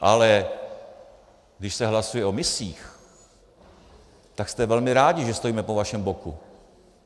Ale když se hlasuje o misích, tak jste velmi rádi, že stojíme po vašem boku.